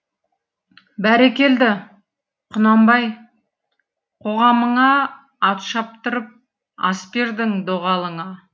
бәрекелді құнанбай қоғамыңа ат шаптырып ас бердің доғалыңа